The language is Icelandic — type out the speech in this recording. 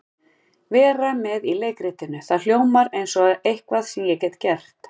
Vera með í leikritinu, það hljómar eins og eitthvað sem ég get gert.